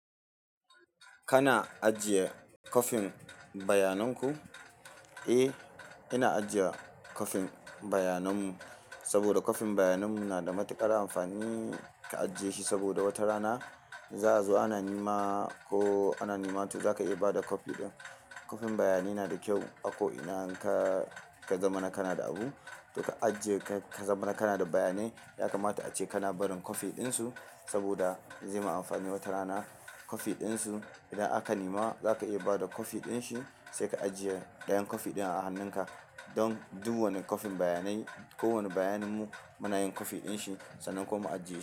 Kana ajiye kwafin bayaninku? Eh, ina ajiye kwafin bayananmu saboda kwafin bayananmu na da matuƙar amfani ka ajiye shi saboda wata rana za a zo ana nema ko ana nema to zaka iya bada copy ɗin. Copy bayani na da kyau a ko'ina ka, ka zama na kana da abu, to ka ajiye ka zama na kana da bayanai. Ya kamata ace kana barin copy ɗinsu saboda zai ma amfani wata rana. Ka ajiye shi saboda wata rana za azo ana nema ko ana nema to zaka iya bada kwafi ɗin. Kwafin bayanai nada kyau a ko'ina ka, ka zamana kanada abu, to ka ajiye ka zama na kana da bayanai. Don duk wani copy bayanai, kowane baynin mu, muna yin copy ɗin shi, sannan kuma mu ajiye shi.